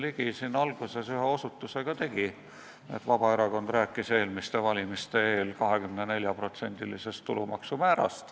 Jürgen Ligi ühe osutuse ka tegi, et Vabaerakond rääkis eelmiste valimiste eel 24%-lisest tulumaksu määrast.